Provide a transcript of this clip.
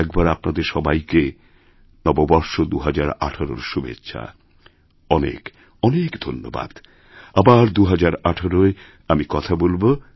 আরেকবারআপনাদের সবাইকে নববর্ষ ২০১৮র শুভেচ্ছা অনেক অনেক ধন্যবাদ আবার ২০১৮য়আমি কথা বলব